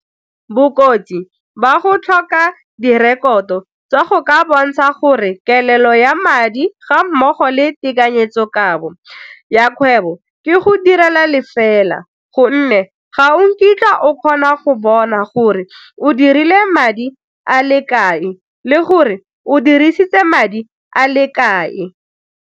Bokotsi ba go tlhoka direkoto tsa go ka bontsha gore kelelo ya madi ga mmogo le tekanyetsokabo ya kgwebo ke go direla le fela gonne ga nkitla o kgona go bona gore o dirile madi a le kae le gore o dirisitse madi a lekae.